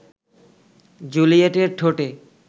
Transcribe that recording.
জুলিয়েটের ঠোঁটে